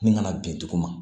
Min kana bin duguma